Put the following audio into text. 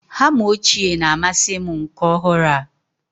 Hama ochie na-amasị m nke ọhụrụ a.